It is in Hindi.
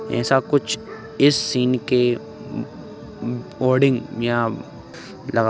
ऐसा कुछ इस सीन के म्-म्-कोडिंग यहां लगा --